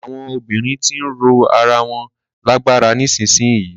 Àwọn obìnrin ti ń ró ara wọn lágbára nísìyí.